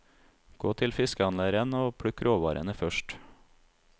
Gå til fiskehandleren og plukk råvarene først.